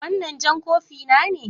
Wannan jan kofi na ne?